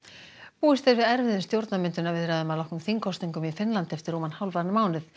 búist er við erfiðum stjórnarmyndunarviðræðum að loknum þingkosningum í Finnlandi eftir rúman hálfan mánuð